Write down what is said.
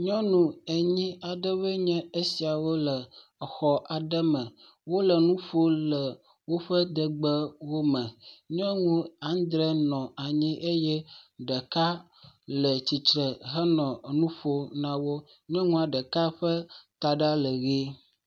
Nyɔnu enyi aɖewo nye esia le xɔ aɖe me. Wole nu ƒom le woƒe degbe me. Nyɔnu adrɛ nɔ anyi eye ɖeka le tsitre henɔ nu ƒom na wo. Nyɔnua ɖeka ƒe taɖa le ʋi.